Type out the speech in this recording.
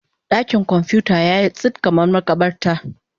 Dakin kwamfuta yayi tsit kamar makabarta.